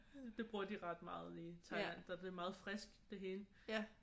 Det bruger de ret meget i Thailand der er det meget friskt det hele